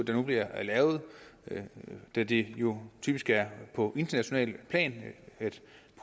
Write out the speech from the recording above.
det nu bliver lavet da det jo typisk er på internationalt plan